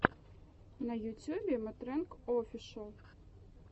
на ютьюбе мэтрэнг офишэл